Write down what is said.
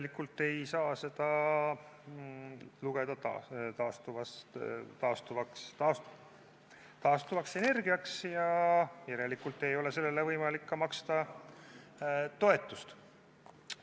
Siis ei saa seda lugeda taastuvaks energiaks ja järelikult ei ole sellele võimalik maksta ka toetust.